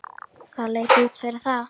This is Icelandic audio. Það leit út fyrir það.